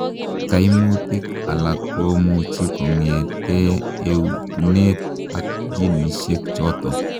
Kaimutik alaak komuchii kongetee etuneet ab ginisie chotok.